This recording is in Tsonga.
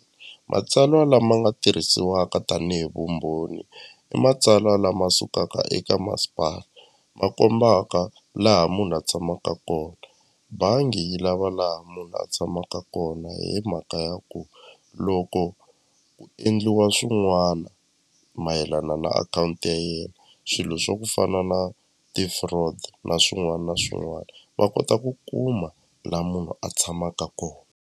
Matsalwa lama nga tirhisiwaka tanihi vumbhoni i matsalwa lama sukaka eka masipala ma kombaka laha munhu a tshamaka kona bangi yi lava laha munhu a tshamaka kona hi mhaka ya ku loko endliwa swin'wana mayelana na akhawunti ya yena swilo swa ku fana na ti-fraud na swin'wana na swin'wana va kota ku kuma la munhu a tshamaka kona.